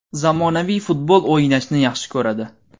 Zamonaviy futbol o‘ynashni yaxshi ko‘radi.